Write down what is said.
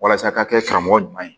Walasa a ka kɛ karamɔgɔ ɲuman ye